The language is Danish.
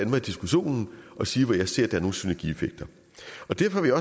mig i diskussionen og sige hvor jeg ser at der er nogle synergieffekter og derfor vil